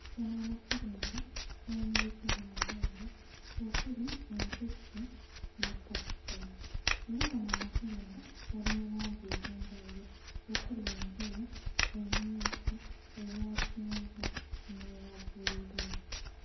Gano makerenda gali mu bika bya njawulo okuli empeke ne kkapiso era gano amakerenda gali mu langi ez'enjawulo okuli enjeru, emmyufu, eya kyenvu n'eya bbululu.